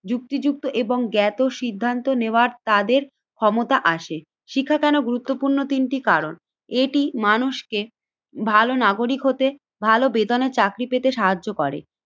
যুক্তিযুক্ত এবং জ্ঞাত সিদ্ধান্ত নেওয়ার তাদের ক্ষমতা আসে। শিক্ষা কেন গুরুত্বপূর্ণ তিনটি কারণ এটি মানুষকে ভালো নাগরিক হতে ভালো বেতনের চাকরি পেতে সাহায্য করে।